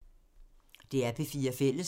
DR P4 Fælles